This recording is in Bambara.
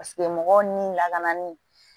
Paseke mɔgɔw ni lakanali